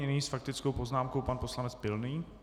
Nyní s faktickou poznámkou pan poslanec Pilný.